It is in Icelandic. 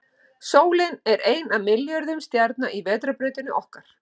Sólin er ein af milljörðum stjarna í Vetrarbrautinni okkar.